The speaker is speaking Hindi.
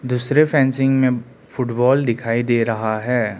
दूसरे फेंसिंग में फुटबॉल दिखाई दे रहा है।